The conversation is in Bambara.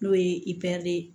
N'o ye ye